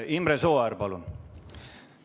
Imre Sooäär, palun!